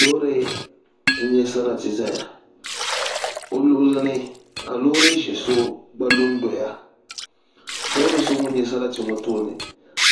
Loori n nyɛ sarati ʒɛya i luɣuli ni ka loori ʒiɛ so gba lu n doya loori so ŋun nyɛ sarati ŋɔ tooni